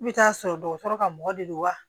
I bɛ taa sɔrɔ dɔgɔtɔrɔ ka mɔgɔ de don wa